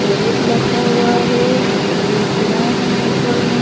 arrows लखा हुआ है और ये टीना है ऊपर में --